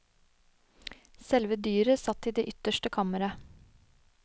Selve dyret satt i det ytterste kammeret.